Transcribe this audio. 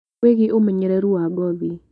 Wĩgiĩ ũmenyereru wa ngothi